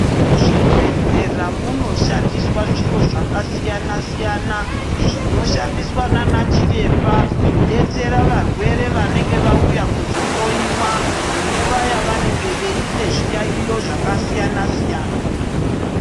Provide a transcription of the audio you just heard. Muzvibhedhlera munoshandiswa zviro zvakasiyana siyana zvinoshandiswa naana Chiremba kudetsera varwere vanenge vauya kuzohloiwa munguwa yavanenge vane zviyaiyo zvakasiyana siyana.